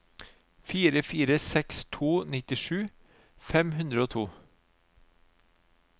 fire fire seks to nittisju fem hundre og to